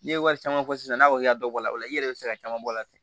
N'i ye wari caman fɔ sisan n'a fɔ i ka dɔ bɔ a la o la i yɛrɛ bɛ se ka caman bɔ a la ten